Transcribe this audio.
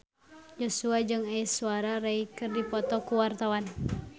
Joshua jeung Aishwarya Rai keur dipoto ku wartawan